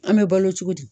An bɛ balo cogo di